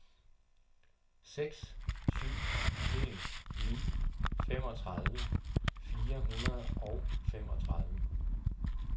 seks syv en ni femogtredive fire hundrede og femogtredive